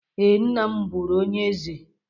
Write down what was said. Ee, nna m bụrụ onye eze.